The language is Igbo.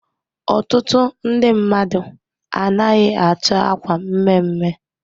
Ọtụtụ ndị mmadụ anaghị achọ akwa mme mme.